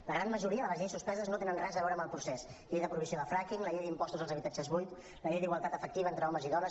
la gran majoria de les lleis suspeses no tenen res a veure amb el procés llei de prohibició del fracking la llei d’impostos als habitatges buits la llei d’igualtat efectiva entre homes i dones